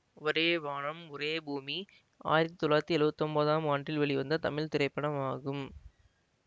ஒரே வானம் ஒரே பூமி ஆயிரத்தி தொள்ளாயிரத்தி எழுவத்தி ஒன்போதாம் ஆண்டு வெளிவந்த தமிழ் திரைப்படமாகும்